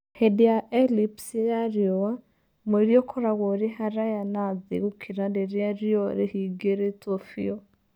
Hĩndĩ ya eclipse ya riũa, mweri ũkoragwo ũrĩ haraya na thĩ gũkĩra rĩrĩa riũa rĩhingĩrĩtwo biũ.